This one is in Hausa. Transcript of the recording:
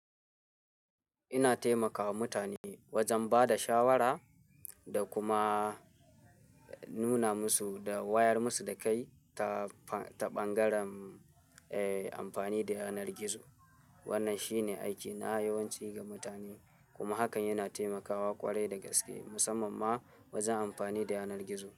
Ina taimakawa mutane wajen ba da shawara da kuma nuna musu da wayar musu da kayi ta, ta ɓangaren, eh amfani da yanar gizo. Wannan shine aikina yawanci ga mutane kuma hakan yana taimakawa ƙwarai da gaske, musamman ma wajen amfani da yanar gizo.